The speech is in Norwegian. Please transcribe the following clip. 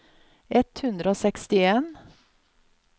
ett hundre og sekstien